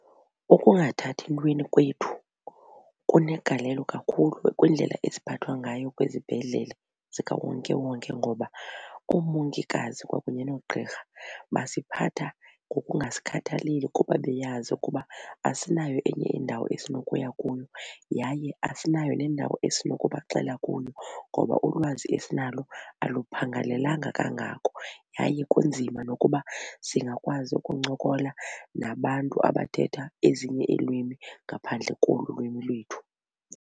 Ukungathathi ntweni kwethu kunegalelo kakhulu kwindlela esiphathwa ngayo kwizibhedlele zikawonkewonke ngoba oomongikazi kwakunye noogqirha basiphatha ngokungsikhathaleli kuba beyazi ukuba asinayo enye indawo esinokuya kuyo yaye asinayo nendawo esinokubaxela kuyo ngoba ulwazi esinalo aluphangalelanga kangako. Yaye kunzima nokuba singakwazi ukuncokola nabantu abathetha ezinye iilwimi ngaphandle kolu lwimi lethu.